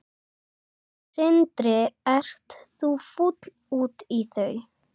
Sindri: Ert þú fúll út í þau?